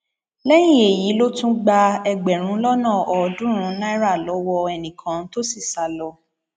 lẹyìn èyí ló tún gba ẹgbẹrún lọnà ọọdúnrún náírà lọwọ ẹnìkan tó sì sá lọ